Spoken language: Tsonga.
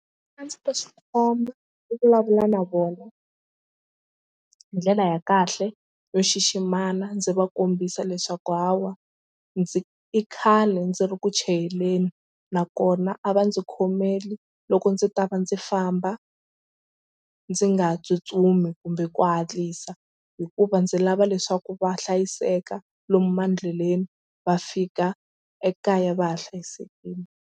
A ndzi ta swi khoma ni vulavula na vona hi ndlela ya kahle yo xiximana ndzi va kombisa leswaku hawa ndzi i khale ndzi ri ku chayeleni nakona a va ndzi khomeli loko ndzi ta va ndzi famba ndzi nga tsutsumi kumbe ku hatlisa hikuva ndzi lava leswaku va hlayiseka lomu mandleleni va fika ekaya va ha hlayisekile.